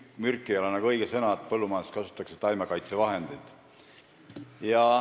"Mürk" ei ole päris õige sõna, põllumajanduses kasutatakse taimekaitsevahendeid.